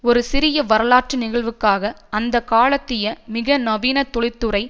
ஒரு சிறிய வரலாற்று நிகழ்வுக்காக அந்த காலத்திய மிக நவீன தொழிற்துறை